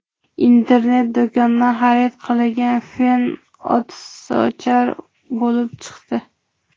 Internet do‘kondan xarid qilingan fen o‘tsochar bo‘lib chiqdi.